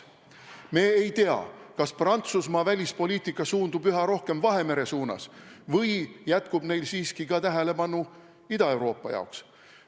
Me ei tea, kas Prantsusmaa välispoliitika suundub üha rohkem Vahemere suunas või jätkub neil siiski tähelepanu ka Ida-Euroopa jaoks.